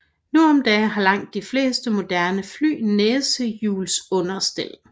Nu om dage har langt de fleste moderne fly næsehjulsunderstel